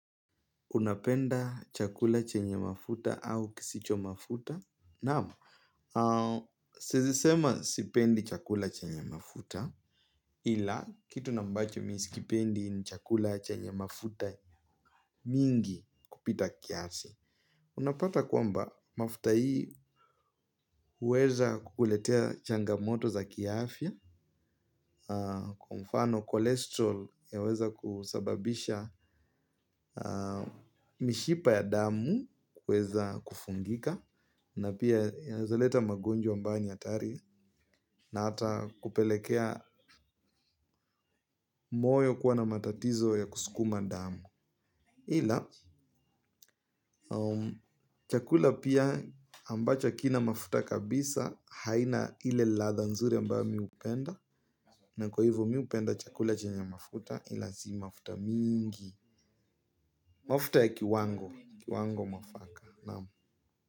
Unapenda chakula chenye mafuta au kisicho mafuta? Naam, siezisema sipendi chakula chenye mafuta ila kitu na ambacho mi sikipendi ni chakula chenye mafuta mingi kupita kiasi. Unapata kwamba mafuta hii uweza kuletea changamoto za kiafya, kwa mfano kolesterol yaweza kusababisha mishipa ya damu uweza kufungika, na pia uweza leta magonjwa ambayo ni atari, na ata kupelekea moyo kuwa na matatizo ya kusukuma damu. Ila chakula pia ambacho kina mafuta kabisa haina ile latha nzuri ambayo mi upenda. Na kwa hivyo mi upenda chakula chenye mafuta ila si mafuta mingi. Mafuta ya kiwango mwafaka.